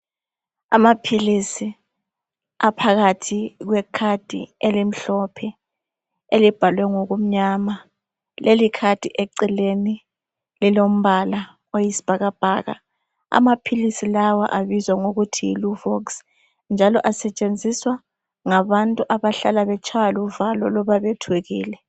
Amaphilisi aphakathi kwekhadi elimhlophe elibhalwe ngokumnyama. Lelikhadi eceleni lilombala oyisibhakabhaka. Amaphilisi lawa abizwa ngokuthi yi luvox njalo asetshenziswa ngabantu abahlala betshaywa luvalo loba bethukile.